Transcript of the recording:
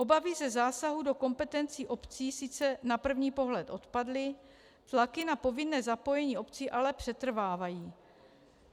Obavy ze zásahu do kompetencí obcí sice na první pohled odpadly, tlaky na povinné zapojení obcí ale přetrvávají.